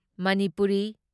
Manipuri